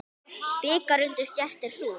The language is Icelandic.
Bikar undir stétt er sú.